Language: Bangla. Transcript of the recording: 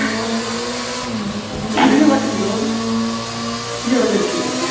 কি video পাঠিয়েছি তোমাকে কি ওটা দেখছিল?